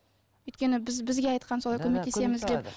өйткені біз бізге айтқан солай көмектесеміз деп